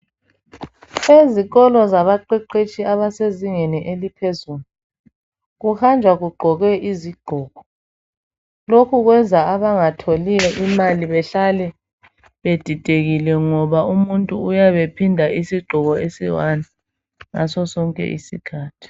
Ezikolo zabaqeqetshi abasezingeni eliphezulu, kuhanjwa kugqokwe izigqoko lokhu kwenza abangatholiyo imali behlale bedidekile ngoba umuntu uyabe phinda isigqoko esiwani ngasosonke isikhathi.